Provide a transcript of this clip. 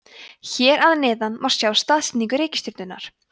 hér að neðan má sjá staðsetningu reikistjörnunnar